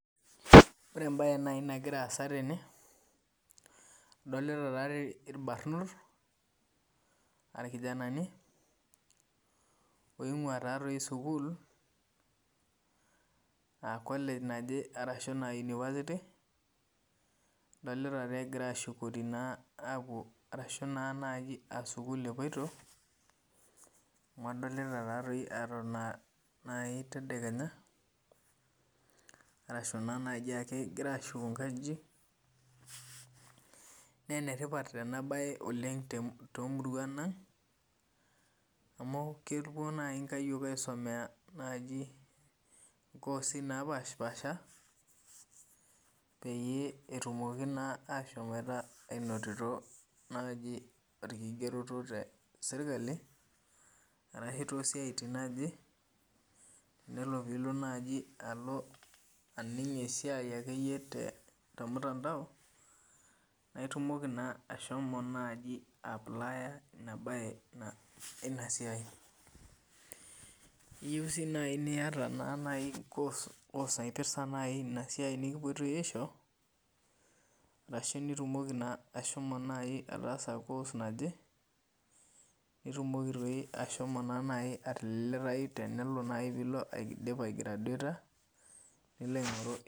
Ore embae nai nagira aaaa tene adolta irbarnot aa irkijanani aa college ashu university adolta egira ashukori ashu sukul epoito adolta ajo etona a nai tedekenya ashu kegira ashuko nkajijik na enetipat oleng temurua aangamu kepuo nai inkayiok aisomea nkosi napasha petumoki ainoto najiborkigeroto teserkali ashu nelo pilo nai aning esiai akeyie tormutandao na itumoki ashomo aiplaya inasiai iyieu si niata kos naipirta inasia nikipoitoi aisho ashu ilo naai aas kos naje nitumoki nai ashomo atililitai nilo aingoru.